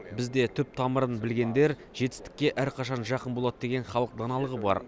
бізде түп тамырын білгендер жетістікке әрқашан жақын болады деген халық даналығы бар